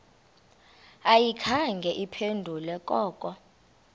ayikhange iphendule koko